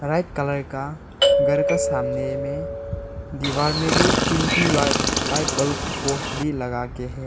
Bright colour का घर का सामने में दीवाल में भी तीन ठो लाइट लाइट बल्ब पोल्स भी लगाके हैं।